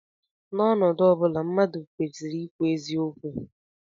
N'ọnọdụ ọ bụla, mmadụ kwesịrị ikwu eziokwu